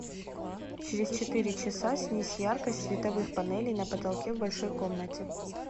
через четыре часа снизь яркость световых панелей на потолке в большой комнате